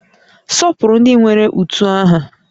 Sọpụrụ ndị nwere utu aha